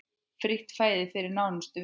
Frítt fæði fyrir nánustu vini.